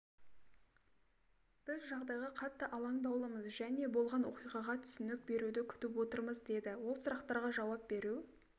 біз жағдайға қатты алаңдаулымыз және болған оқиғаға түсінік беруді күтіп отырмыз деді ол сұрақтарға жауап беру